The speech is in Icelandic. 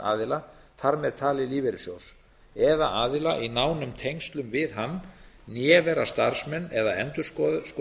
aðila þar með talið lífeyrissjóðs eða aðila í nánum tengslum við hann né vera starfsmenn eða endurskoðendur